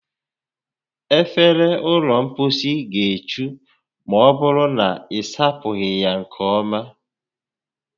Efere ụlọ mposi ga-echu ma ọbụrụ na ị sapụghị ya nke ọma